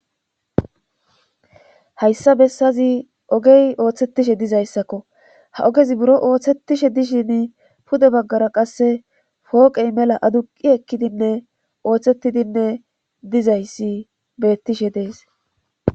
hayssa bessazi ogey ooththetishe dizayssakko ha ogezi buro ooththetishe dishin pude baggara qasse fooqey mela aduqi ekkidinne ooththettidinne dizayssi beettishe dees